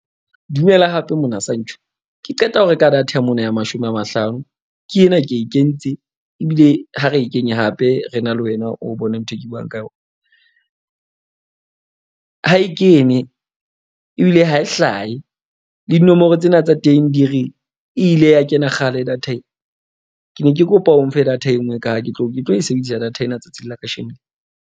Dumela hape mona ke qeta ho reka data ya mona ya mashome a mahlano. Ke ena ke e kentse ebile ha re e kenye hape re na le wena o bone ntho e ke buang ka yona. Ha e kene ebile ha e hlahe le dinomoro tsena tsa teng di re ile ya kena kgale data ena. Ke ne ke kopa o nfe data e nngwe ka ha ke tlo e sebedisa data ena tsatsing la kasheno.